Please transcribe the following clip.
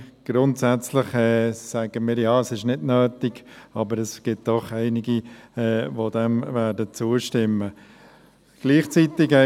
Grundsätzlich sagen wir, es sei nicht nötig, aber es gibt doch einige, die zustimmen werden.